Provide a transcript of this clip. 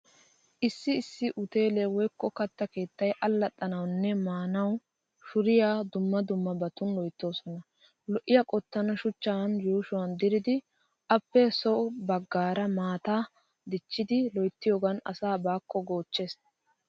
Issi issi uteelee woykko katta keettay allaxxanawunne maanawu shuuriya dumma dummabatun loyttoosona. Lo'iyaa qottan shuchchan yuushuwaa diridi appe so baggaaran maataa dichchidi loyttiyogan asaa baakko goochches.